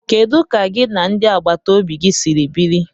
Kedu ka gị na ndị agbata obi gi si biri?